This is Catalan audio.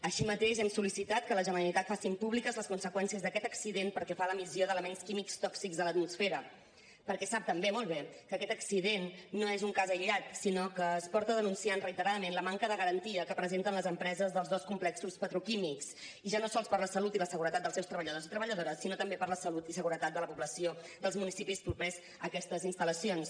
així mateix hem sol·licitat que la generalitat faci públiques les conseqüències d’aquest accident pel que fa a l’emissió d’elements químics tòxics a l’atmosfera perquè sap també molt bé que aquest accident no és un cas aïllat sinó que es porta denunciant reiteradament la manca de garantia que presenten les empreses dels dos complexos petroquímics i ja no sols per la salut i la seguretat dels seus treballadors i treballadores sinó també per la salut i la seguretat de la població dels municipis propers a aquestes instal·lacions